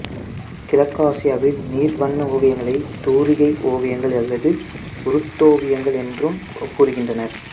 கிழக்காசியாவில் நீர் வண்ண ஓவியங்களைத் தூரிகை ஓவியங்கள் அல்லது உருட்டோவியங்கள் என்றும் கூறுகின்றனர்